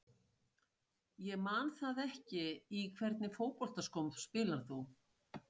Ég man það ekki Í hvernig fótboltaskóm spilar þú?